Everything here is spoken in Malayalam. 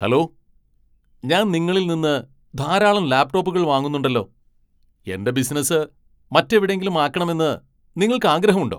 ഹലോ, ഞാൻ നിങ്ങളിൽ നിന്ന് ധാരാളം ലാപ്ടോപ്പുകൾ വാങ്ങുന്നുണ്ടല്ലോ. എന്റെ ബിസിനസ്സ് മറ്റെവിടെയെങ്കിലും ആക്കണെമന്ന് നിങ്ങൾക്ക് ആഗ്രഹമുണ്ടോ?